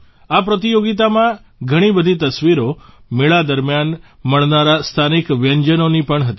આ પ્રતિયોગિતામાં ઘણી બધી તસવીરો મેળા દરમ્યાન મળનારા સ્થાનિક વ્યંજનોની પણ હતી